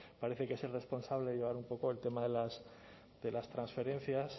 parece que es el responsable de llevar un poco el tema de las transferencias